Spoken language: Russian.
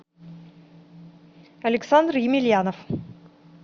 александр емельянов